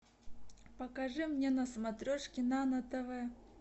покажи мне на смотрешке нано тв